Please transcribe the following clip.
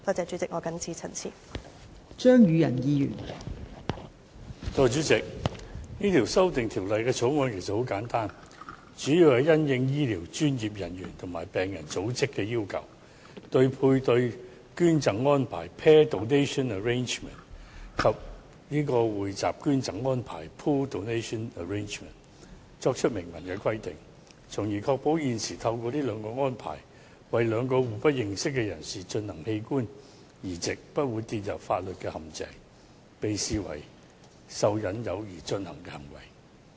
代理主席，這項《2018年人體器官移植條例草案》很簡單，主要是應醫療專業人員和病人組織的要求，針對配對捐贈安排及匯集捐贈安排作出明文規定，從而確保現時透過這兩項安排，為兩名互不認識人士進行的器官移植不會跌入法律陷阱，被視為受"引誘"而進行的行為。